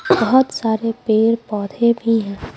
बहुत सारे पेड़-पौधे भी हैं।